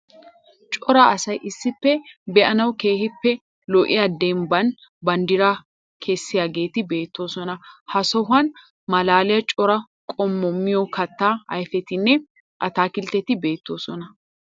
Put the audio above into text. Cora asayi issippe be'anawu keehippe lo'iya demibban banddira kessiyageeti beettoosona. Ha sohuwa malaaliya cora qommo miyo kattaa ayifetinne ataakiltteti beettoosona.